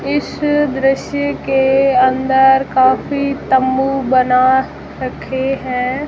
इस दृश्य के अंदर काफी तंबू बना रखे हैं।